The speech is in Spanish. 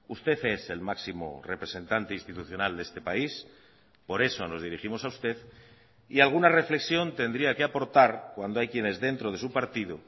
usted es el máximo representante institucional de este país por eso nos dirigimos a usted y alguna reflexión tendría que aportar cuando hay quienes dentro de su partido